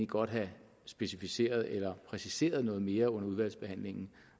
godt have specificeret eller præciseret noget mere under udvalgsbehandlingen